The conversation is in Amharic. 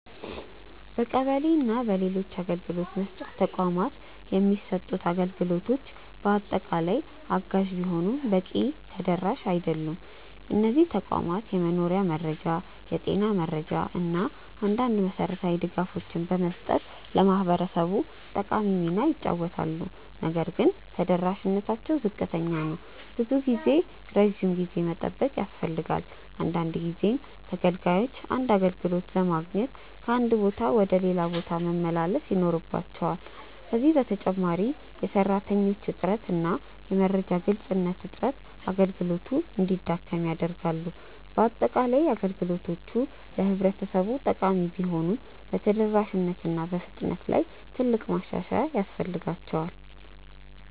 በቀበሌ እና በሌሎች አገልግሎት መስጫ ተቋማት የሚሰጡት አገልግሎቶች በአጠቃላይ አጋዥ ቢሆኑም በቂ ተደራሽ አይደሉም። እነዚህ ተቋማት የመኖሪያ መረጃ፣ የጤና መረጃ እና አንዳንድ መሠረታዊ ድጋፎችን በመስጠት ለህብረተሰቡ ጠቃሚ ሚና ይጫወታሉ። ነገር ግን ተደራሽነታቸው ዝቅተኛ ነው። ብዙ ጊዜ ረጅም ጊዜ መጠበቅ ያስፈልጋል፣ አንዳንድ ጊዜም ተገልጋዮች አንድ አገልግሎት ለማግኘት ከአንድ ቦታ ወደ ሌላ መመላለስ ይኖርባቸዋል። ከዚህ በተጨማሪ የሰራተኞች እጥረት እና የመረጃ ግልጽነት እጥረት አገልግሎቱን እንዲያደክም ያደርጋሉ። በአጠቃላይ፣ አገልግሎቶቹ ለህብረተሰቡ ጠቃሚ ቢሆኑም በተደራሽነት እና በፍጥነት ላይ ትልቅ ማሻሻያ ያስፈልጋቸዋል።